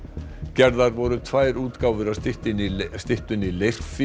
gerðar voru tvær útgáfur af styttunni styttunni